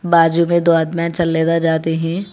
बाज़ू में दो आदमी जाते हैं।